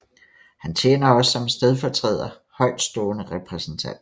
Han tjener også som stedfortræder Højtstående repræsentant